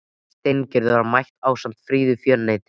Steingerður var mætt ásamt fríðu föruneyti.